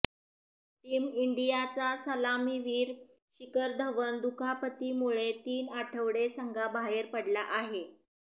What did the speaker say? team इंडियाचा सलामीवीर शिखर धवन दुखापतीमुळे तीन आठवडे संघाबाहेर पडला आहे